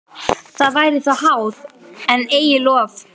Það væri þá háð, en eigi lof.